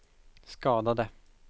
skadade